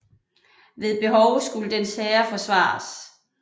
Ved behov skulle dens herre forsvares